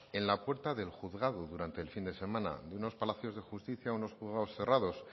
en la puerta del juzgado durante el fin de semana en unos palacios de justicia en unos juzgados cerrados